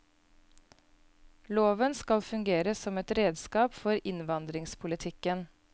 Loven skal fungere som et redskap for innvandringspolitikken.